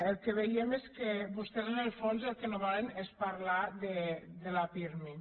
el que veiem és que vostès en el fons el que no volen és parlar de la pirmi